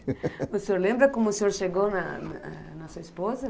O senhor lembra como o senhor chegou na eh na sua esposa?